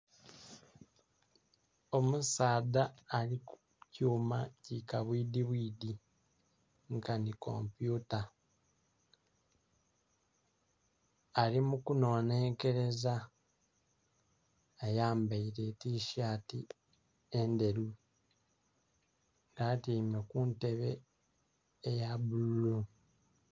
Omusaadha ali ku kyuma ki kabwidhi bwidhi nkanhi kompyuta ali mu kunonhenkeleza ayambaire tisaati endheru nga atyaime kuntebe eya bbululu.